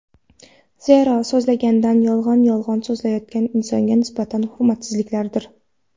Zero so‘zlangan yolg‘on yolg‘on so‘zlanayotgan insonga nisbatan hurmatsizlikdir.